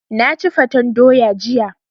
Na ci fatan doya jiya.